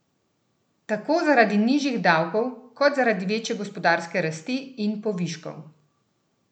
Tako zaradi nižjih davkov kot zaradi večje gospodarske rasti in poviškov?